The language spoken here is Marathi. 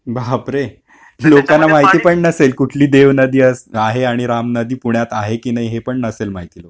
लोकाना माहिती पण नसेल कुठली देव नदी अस आहे आणि राम नदी पुण्यात आहे की नाही हे पण नसेल माहीत लोकाना